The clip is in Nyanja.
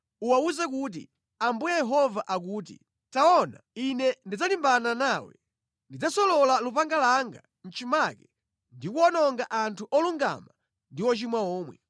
Uwawuze kuti, Ambuye Yehova akuti, ‘Taona, Ine ndidzalimbana nawe. Ndidzasolola lupanga langa mʼchimake ndi kuwononga anthu olungama ndi ochimwa omwe.